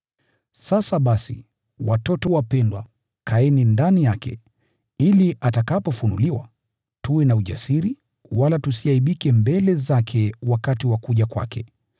Sasa basi, watoto wapendwa, kaeni ndani yake, ili atakapofunuliwa, tuwe na ujasiri, wala tusiaibike mbele zake wakati wa kuja kwake.